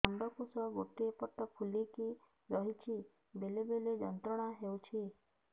ଅଣ୍ଡକୋଷ ଗୋଟେ ପଟ ଫୁଲିକି ରହଛି ବେଳେ ବେଳେ ଯନ୍ତ୍ରଣା ହେଉଛି